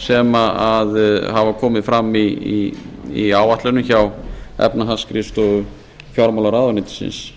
sem hafa komið fram í áætlunum hjá efnahagsskrifstofu fjármálaráðuneytisins